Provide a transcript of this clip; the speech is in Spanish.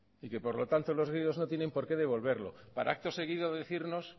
y que por lo tanto los griegos no tienen porqué devolverlo para acto seguido decirnos